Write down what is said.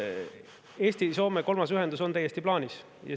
Eesti-Soome kolmas ühendus on täiesti plaanis.